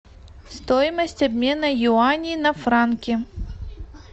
стоимость обмена юаней на франки